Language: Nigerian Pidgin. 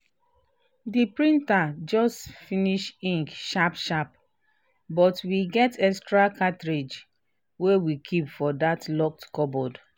the printer just finish ink sharp-sharp but we get extra cartridge wey we keep for that locked cupboard.